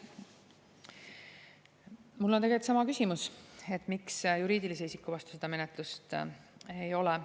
Mul on tegelikult sama küsimus, et miks juriidilise isiku vastu seda menetlust ei ole.